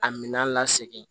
A minɛn lasegin